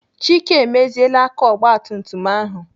Chike emeziela aka ogbatumtum ahụ.